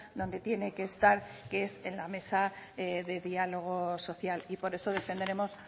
donde tiene que estar que es en la mesa de diálogo social y por eso defenderemos